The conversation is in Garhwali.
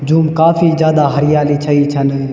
जूम काफी जादा हरियाली छई छन।